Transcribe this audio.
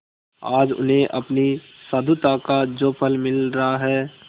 आज उन्हें अपनी साधुता का जो फल मिल रहा है